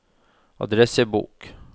adressebok